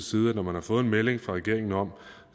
side at når man har fået en melding fra regeringen om